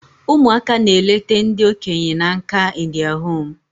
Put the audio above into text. Ụmụaka na-elete ndi okenya na nka in their home